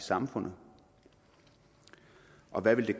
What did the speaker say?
samfundet og hvad det